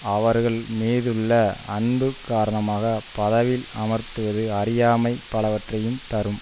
அவர்கள் மீதுள்ள அன்பு காரணமாக பதவியில் அமர்த்துவது அறியாமை பலவற்றையும் தரும்